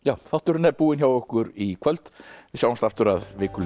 þátturinn er búinn hjá okkur í kvöld við sjáumst aftur að viku liðinni